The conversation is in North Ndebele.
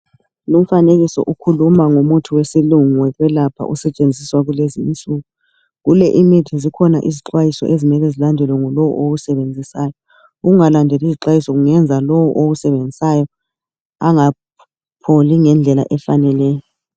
Lumfanekiso ukhuluma ngo muthi wesilungu owekwelapha osebenziswa kulezi insuku kulemithi zikhona izixwayiso okumele zilandelwe ngulo owusebenzisayo ukungalandeli izixwayiso kungenza lo owusebenzisayo engapholi ngendlela efaneleyo